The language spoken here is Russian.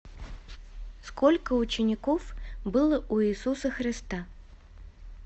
сколько учеников было у иисуса христа